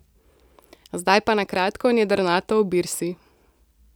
Zdaj pa na kratko in jedrnato o Birsi.